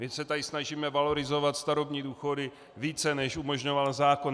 My se tady snažíme valorizovat starobní důchody více, než umožňoval zákon.